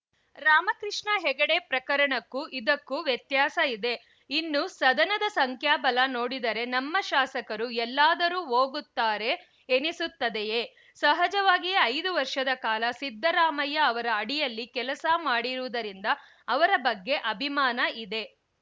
ರಾಮಕೃಷ್ಣ ಹೆಗಡೆ ಪ್ರಕರಣಕ್ಕೂ ಇದಕ್ಕೂ ವ್ಯತ್ಯಾಸ ಇದೆ ಇನ್ನು ಸದನದ ಸಂಖ್ಯಾಬಲ ನೋಡಿದರೆ ನಮ್ಮ ಶಾಸಕರು ಎಲ್ಲಾದರೂ ಹೋಗುತ್ತಾರೆ ಎನಿಸುತ್ತದೆಯೇ ಸಹಜವಾಗಿಯೇ ಐದು ವರ್ಷದ ಕಾಲ ಸಿದ್ದರಾಮಯ್ಯ ಅವರ ಅಡಿಯಲ್ಲಿ ಕೆಲಸ ಮಾಡಿರುವುದರಿಂದ ಅವರ ಬಗ್ಗೆ ಅಭಿಮಾನ ಇದೆ